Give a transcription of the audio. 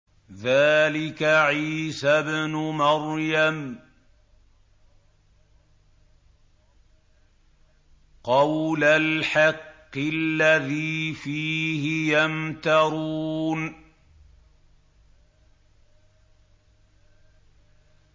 ذَٰلِكَ عِيسَى ابْنُ مَرْيَمَ ۚ قَوْلَ الْحَقِّ الَّذِي فِيهِ يَمْتَرُونَ